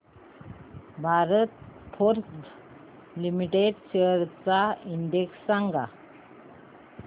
Bharat Forge Limited shares चा index सांगा